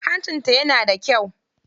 Hancinta yana da kyau.